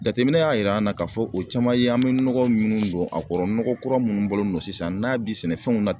Jateminɛ y'a yira an na k'a fɔ o caman ye an bɛ nɔgɔ minnu don a kɔrɔ nɔgɔ kura minnu bɔlen don sisan n'a bi sɛnɛfɛnw